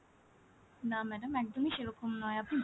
না madam একদমই সেরকম নয় আপনি ভুল,